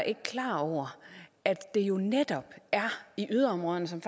ikke klar over at det jo netop er i yderområderne som